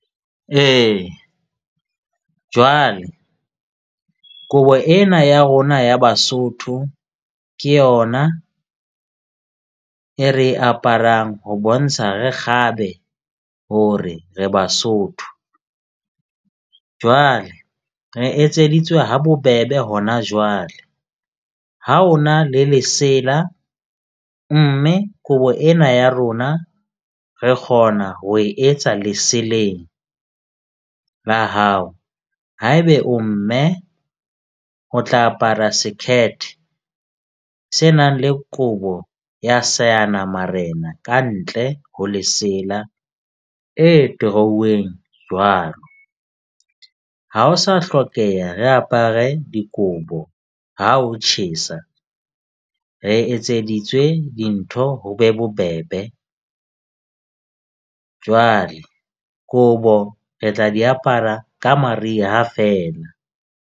Ee, jwale kobo ena ya rona ya Basotho ke yona e re e aparang ho bontsha re kgabe hore re Basotho. Jwale re etseditswe ha bobebe hona jwale. Ha o na le lesela, mme kobo ena ya rona re kgona ho e etsa leseleng la hao. Haebe o mme o tla apara sekhethe se nang le kobo ya seanamarena kantle ho lesela e torouweng jwalo. Ha o sa hlokeha, re apare dikobo ha ho tjhesa, re etseditswe dintho, ho be bobebe, jwale kobo re tla di apara ka mariha fela.